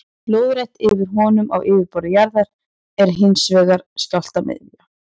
Lóðrétt yfir honum á yfirborði jarðar er hins vegar skjálftamiðja.